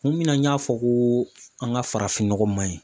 Kun min na n y'a fɔ koo an ka farafin nɔgɔ maɲi